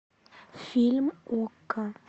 фильм окко